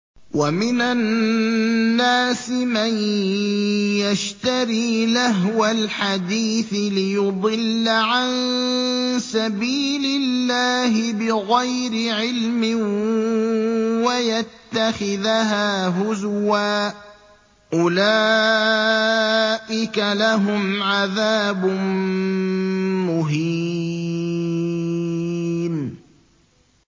وَمِنَ النَّاسِ مَن يَشْتَرِي لَهْوَ الْحَدِيثِ لِيُضِلَّ عَن سَبِيلِ اللَّهِ بِغَيْرِ عِلْمٍ وَيَتَّخِذَهَا هُزُوًا ۚ أُولَٰئِكَ لَهُمْ عَذَابٌ مُّهِينٌ